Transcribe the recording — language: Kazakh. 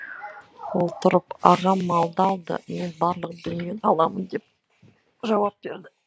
ол тұрып ағам малды алды мен барлық дүниені аламын деп жауап берді